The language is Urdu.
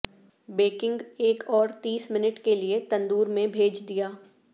بیکنگ ایک اور تیس منٹ کے لئے تندور میں بھیج دیا